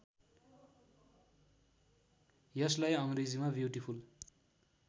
यसलाई अङ्ग्रेजीमा ब्युटिफुल